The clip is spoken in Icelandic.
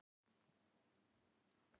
Hegðun simpansa bendir meðal annars til þess.